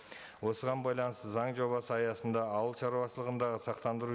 осыған байланысты заң жобасы аясында ауылшаруашылығындағы сақтандыру